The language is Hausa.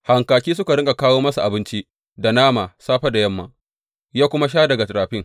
Hankaki suka riƙa kawo masa abinci da nama, safe da yamma, ya kuma sha daga rafin.